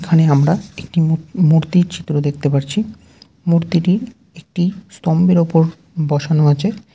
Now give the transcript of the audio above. এখানে আমরা একটি মূ-মূর্তির চিত্র দেখতে পাচ্ছি। মূর্তিটি একটি স্তম্বের ওপর বসানো আছে ।